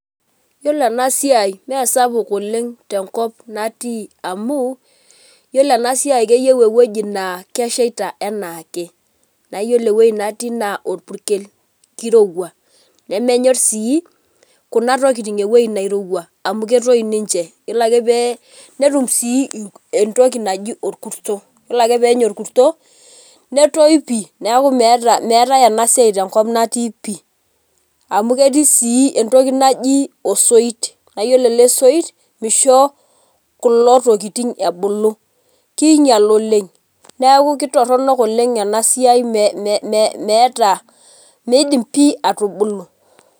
Yiolo enasiai mesapuk oleng tenkop natii amu, yiolo enasiai keyieu ewueji naa keshaita enaake. Na yiolo ewoi natii naa orpukel. Kirowua, nemenyor si kuna tokiting ewoi nairowua amu ketoi minche. Yiolo ake pe, netum si entoki naji orkusto. Yiolo ake penya orkusto, netoyu pi. Neeku meetae enasiai tenkop natii pi. Amu ketii si entoki naji osoit. Na yiolo ele soit, misho kulo tokiting ebulu. Kiibyal oleng. Neeku kitorrono oleng enasiai meeta midim pi atubulu.